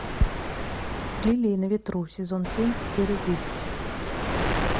лилии на ветру сезон семь серия десять